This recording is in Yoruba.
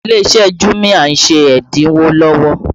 Ilé iṣẹ́ jumia ń ṣe ẹ́dínwó lọ́wọ́